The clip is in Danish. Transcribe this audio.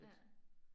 Ja